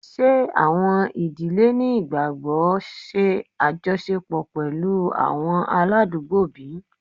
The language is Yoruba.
Ṣe awọn idile ni igbagbogbo ṣe ajọṣepọ pẹlu awọn aladugbo bi?